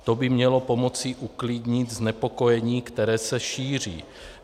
To by mělo pomoci uklidnit znepokojení, které se šíří.